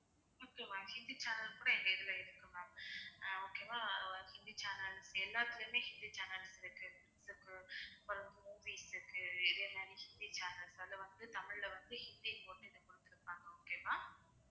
Hindi channels கூட எங்க இதுல இருக்கு ma'am ஆஹ் okay வா உம் ஹிந்தி channel எல்லாத்துலையுமே ஹிந்தி channels இருக்கு பிறகு movies இருக்கு இதே மாதிரி நிறைய channels அதுல வந்து தமிழ்ல வந்து ஹிந்தி போட்டிருக்கும் ma'am அது okay வா